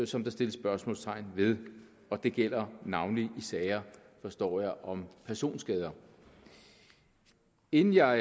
som der sættes spørgsmålstegn ved og det gælder navnlig i sager forstår jeg om personskader inden jeg